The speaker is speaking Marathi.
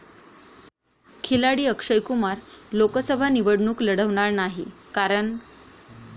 खिलाडी अक्षय कुमार लोकसभा निवडणूक लढवणार नाही, कारण...